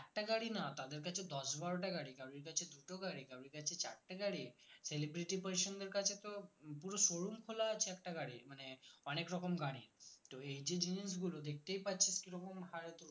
একটা গাড়ি না তাদের কাছে দশ বারোটা গাড়ি কারোর কাছে দুটো গাড়ি কারোর কাছে চারটে গাড়ি celebrity politician দের কাছে তো পুরো showroom খোলা আছে একটা গাড়ির মানে অনেক রকম গাড়ির তো এই যে জিনিসগুলো দেখতেই পাচ্ছিস কিরকম হারে